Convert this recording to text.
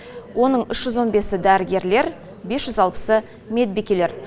оның үш жүз он бесі дәрігерлер бес жүз алпысы медбикелер